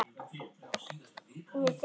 Hún er fyrsta barn.